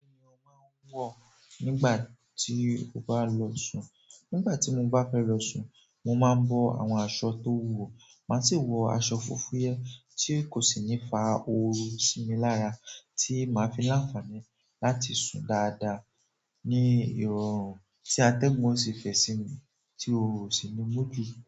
Kí ni o máa ń wọ̀ nígbà tí o bá lọ sùn? Nígbà tí mo bá fẹ́ lọ sùn, mo máa ń bọ́ àwọn aṣọ tó wúwo, màá sì wọ aṣọ fúfúyẹ́ tí kò sì ní fa ooru sí mi lára, tí màá fi láǹfààní láti sùn dáadáa ní irọ̀rùn tí atẹ́gùn ó sì fẹ́ sí mi, tí ooru ò sì ní mú jù.